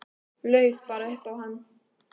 Laug bara upp á hann.